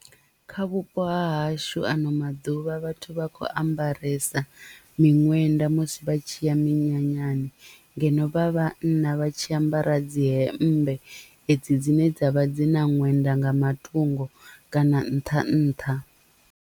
Kha vhupo ha hashu ano maḓuvha vhathu vha khou ambaresa miṅwenda musi vha tshi ya minyanyani ngeno vha vhanna vha tshi ambara dzi hemmbe edzi dzine dzavha dzi na ṅwenda nga matungo kana nṱha nṱha.